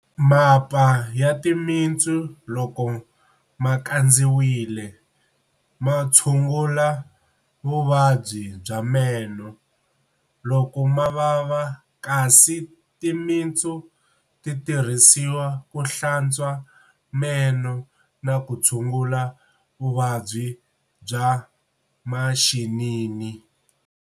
Mapa ya timitsu loko ma kandziwile, ma tshungula vuvabyi bya meno loko ma vava kasi timitsu ti tirhisiwa ku hlantswa meno na ku tshungula vuvabyi bya maxinini.